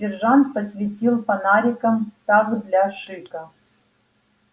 сержант посветил фонариком так для шика